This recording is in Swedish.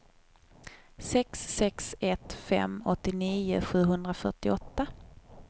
sex sex ett fem åttionio sjuhundrafyrtioåtta